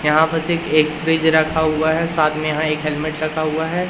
यहां पास एक एक फ्रिज रखा हुआ है साथ में यहां एक हेलमेट रखा हुआ है।